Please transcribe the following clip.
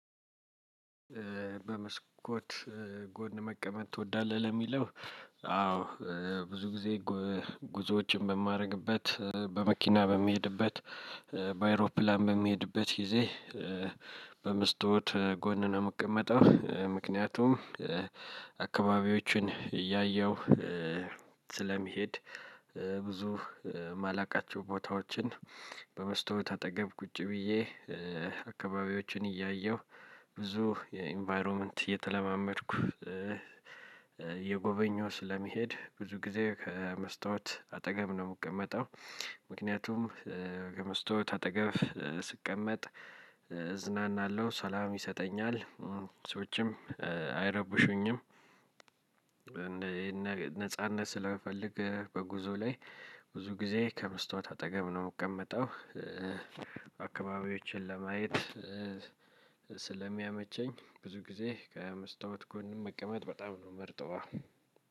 በመስኮት ጎን መቀመጥ ትወዳለህ? ለሚለው አዎ ብዙ ጊዜ ጉዞዎችን በማደርግበት በመኪና በሚሄድበት በአይሮፕላን በሚሄድበት ጊዜ በመስታወት ጎን ነው የምቀመጠው። ምክንያቱም አካባቢዎችን እያየሁ ስለሚሄድ። ብዙ ማላቃቸው ቦታዎችን በመስታወት አጠገብ ቁጭ ብዬ አካባቢዎችን እያየሁ ብዙ የኢንቫይሮመንት እየተለማመድኩ። እየጎበኘው ስለሚሄድ ብዙ ጊዜ ከመስታወት አጠገብ ነው የምቀመጠው። ምክንያቱም ከመስታወት አጠገብ ስቀመጥ እዝናናለሁ ሰላም ይሰጠኛል ሰዎችም አይረብሹኝም። ነጻነት ስለምፈልግ በጉዞ ላይ ብዙ ጊዜ ከመስታወት አጠገብ ነው የምቀመጠው። አከባቢዎቼን ለማየት ስለሚያመቸኝ ብዙ ጊዜ ከመስታወት ጎን መቀመጥ በጣም ነው መርጠዋ።